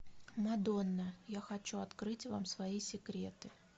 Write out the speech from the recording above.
мадонна я хочу открыть вам свои секреты